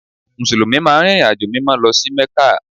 Mùsùlùmí máa ń rìnrìnàjò Mímọ́ lọ sí Mẹ́kà